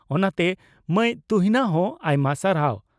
ᱚᱱᱟᱛᱮ ᱢᱟᱹᱭ ᱛᱩᱦᱤᱱᱟ ᱫᱚ ᱟᱭᱢᱟ ᱥᱟᱨᱦᱟᱣ ᱾